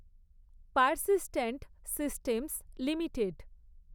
persistent systems limited